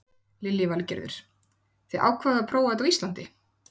Lillý Valgerður: Þið ákváðuð að prófa þetta á Íslandi?